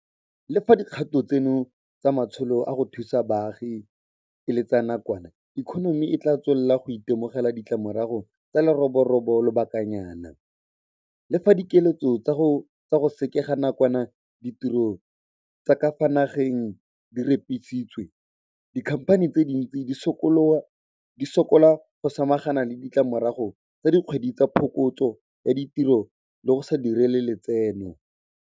Le fa dikgato tseno tsa matsholo a go thusa baagi e le tsa nakwana, ikonomi e tla tswelela go itemogela ditlamorago tsa leroborobo lobakanyana. Le fa dikiletso tsa go sekega nakwana ditiro tsa ka fa nageng di repisitswe, dikhamphani tse dintsi di sokola go samagana le ditlamorago tsa dikgwedi tsa phokotso ya ditiro le go sa direng lotseno.